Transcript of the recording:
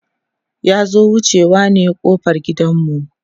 ya zo wucewa ne ƙofar gidan mu